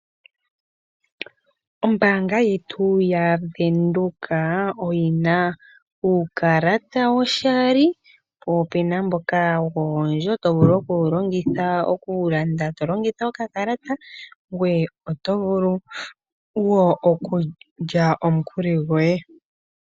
Ombaanga yetu yaVenduka oyina uukalata woshali, po opena mboka woondjo, tovulu okuwulongitha okulanda to longitha okakalata, ngoye oto vulu wo okulya omukuli gwoye.